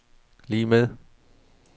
lig med